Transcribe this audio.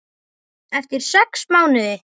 Eftir sex mánuði.